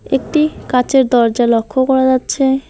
একটি কাঁচের দরজা লক্ষ করা যাচ্ছে।